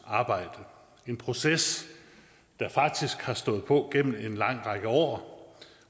arbejde en proces der faktisk har stået på igennem en lang række år